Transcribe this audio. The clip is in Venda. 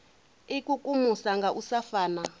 ikukumusa nga u sa fana